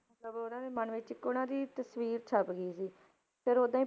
ਮਤਲਬ ਉਹਨਾਂ ਦੇ ਮਨ ਵਿੱਚ ਇੱਕ ਉਹਨਾਂ ਦੀ ਤਸ਼ਵੀਰ ਛਪ ਗਈ ਸੀ ਫਿਰ ਓਦਾਂ ਹੀ